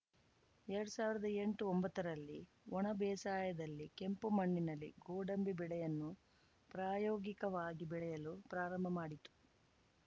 ಎರಡು ಸಾವಿರದ ಎಂಟುಒಂಬತ್ತ ರಲ್ಲಿ ಒಣ ಬೇಸಾಯದಲ್ಲಿ ಕೆಂಪು ಮಣ್ಣಿನಲ್ಲಿ ಗೋಡಂಬಿ ಬೆಳೆಯನ್ನು ಪ್ರಾಯೋಗಿಕವಾಗಿ ಬೆಳೆಯಲು ಪ್ರಾರಂಭ ಮಾಡಿತು